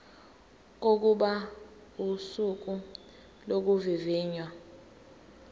kokuba usuku lokuvivinywa